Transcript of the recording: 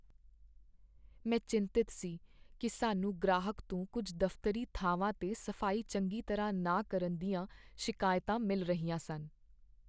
ਮੈਂ ਚਿੰਤਤ ਸੀ ਕਿ ਸਾਨੂੰ ਗ੍ਰਾਹਕ ਤੋਂ ਕੁੱਝ ਦਫ਼ਤਰੀ ਥਾਵਾਂ 'ਤੇ ਸਫ਼ਾਈ ਚੰਗੀ ਤਰ੍ਹਾਂ ਨਾ ਕਰਨ ਦੀਆਂ ਸ਼ਿਕਾਇਤਾਂ ਮਿਲ ਰਹੀਆਂ ਸਨ।